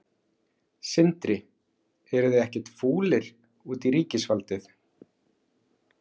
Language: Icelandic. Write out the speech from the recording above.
Sindri: Eruð þið ekkert fúlir út í ríkisvaldið?